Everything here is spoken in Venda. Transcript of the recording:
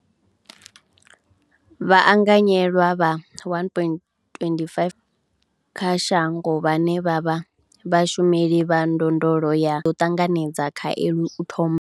Vhaanganyelwa vha 1.25 kha shango vhane vha vha vhashumeli vha ndondolo ya vha ḓo ṱanganedza khaelo u thoma.